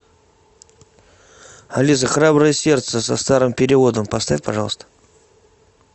алиса храброе сердце со старым переводом поставь пожалуйста